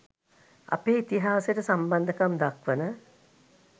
අපේ ඉතිහාසයට සම්බන්ධකම් දක්වන